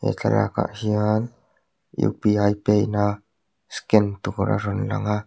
thlalak ah hian u p i pay na scan tur a rawn lang a.